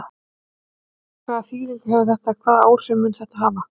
Lillý: Hvaða þýðingu hefur þetta, hvaða áhrif mun þetta hafa?